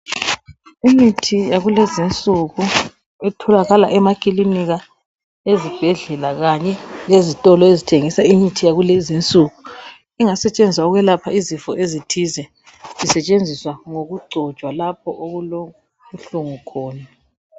Imithi yakulezi insuku etholakala emakilinika ezibhedlela kanye lezitolo ezithengisa imithi yakulezi insuku engasetshenziswa ukwelapha izifo ezithize isetshenziswa ngokugcotshwa lapho okulobuhlungu khona.